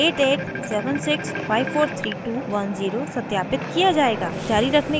और mobile number 8876543210 सत्यापित किया जायेगा